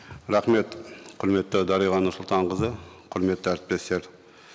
рахмет құрметті дариға нұрсұлтанқызы құрметті әріптестер